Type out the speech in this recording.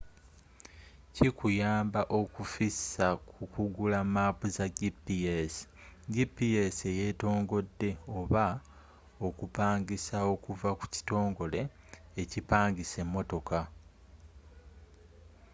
kikuyamba okufissa ku kugula maapu za gps gps eyeetongodde oba okupangisa okuva ku kitongole ekipangisa emmotoka